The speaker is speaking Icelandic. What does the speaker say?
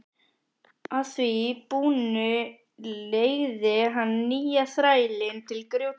Að því búnu leigði hann nýja þrælinn til grjótburðar.